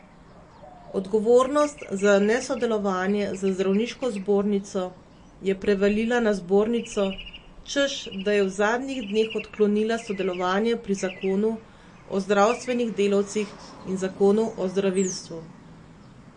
Odgovornost za nesodelovanje z zdravniško zbornico je prevalila na zbornico, češ da je v zadnjih dneh odklonila sodelovanje pri zakonu o zdravstvenih delavcih in zakonu o zdravilstvu.